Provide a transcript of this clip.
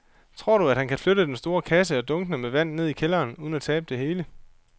Tror du, at han kan flytte den store kasse og dunkene med vand ned i kælderen uden at tabe det hele?